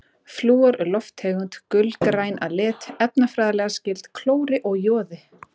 Flúor er lofttegund, gulgræn að lit, efnafræðilega skyld klóri og joði.